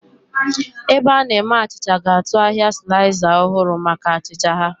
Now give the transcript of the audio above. Ebe a na-eme achịcha ga-atụ ahịa sliza ọhụrụ maka achịcha ha.